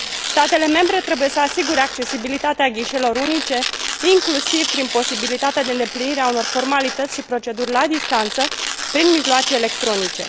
Statele membre trebuie să asigure accesibilitatea ghișeelor unice, inclusiv prin posibilitatea de îndeplinire a unor formalități și proceduri la distanță prin mijloace electronice.